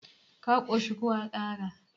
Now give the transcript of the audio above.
ka koshi ko a Kara?